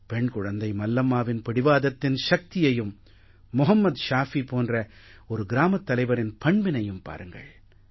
பெண் குழந்தை மல்லம்மாவின் பிடிவாதத்தின் சக்தியையும் மொஹம்மத் ஷாஃபி போன்ற ஒரு கிராமத் தலைவரின் பண்பினையும் பாருங்கள்